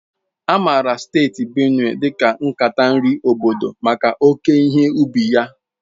A maara Steeti Benue dị ka nkata nri obodo maka oke ihe ubi ya.